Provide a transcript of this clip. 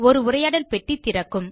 ஒரு உரையாடல் பெட்டி திறக்கும்